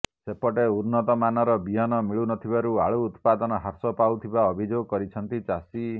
ସେପଟେ ଉନ୍ନତ ମାନର ବିହନ ମିଳୁନଥିବାରୁ ଆଳୁ ଉତ୍ପାଦନ ହ୍ରାସ ପାଉଥିବା ଅଭିଯୋଗ କରିଛନ୍ତି ଚାଷୀ